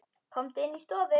Komum inn í stofu!